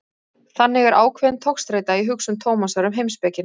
Þannig er ákveðin togstreita í hugsun Tómasar um heimspekina.